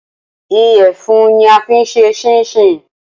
Ìyẹ̀fun ni a fín ṣe ṣíńṣiǹ